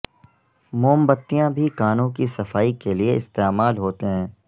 موم بتیاں بھی کانوں کی صفائی کے لئے استعمال ہوتے ہیں